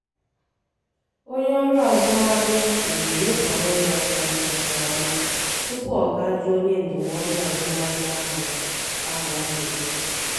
onye ọrụ azụmahịa leziri nhọrọ ya anya nke ọma tupu ọ ga jụọ onye ndụmọdụ azụmahịa ahụ ahụ ajụjụ.